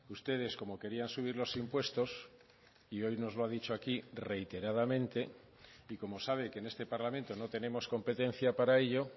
ustedes como querían subir los impuestos y hoy nos lo ha dicho aquí reiteradamente y como sabe que en este parlamento no tenemos competencia para ello